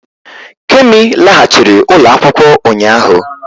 Kemi laghachiri ụlọ akwụkwọ ụnyaahụ